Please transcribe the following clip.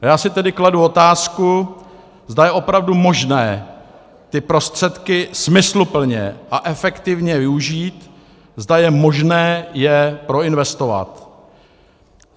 A já si tedy kladu otázku, zda je opravdu možné ty prostředky smysluplně a efektivně využít, zda je možné je proinvestovat.